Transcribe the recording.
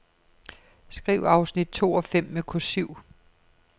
Skriv afsnit to og fem med kursiv.